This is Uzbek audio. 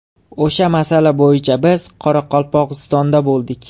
O‘sha masala bo‘yicha biz Qoraqalpog‘istonda bo‘ldik.